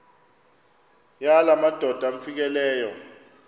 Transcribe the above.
yala madoda amfikeleyo